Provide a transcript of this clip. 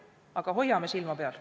Aga hoiame silma peal.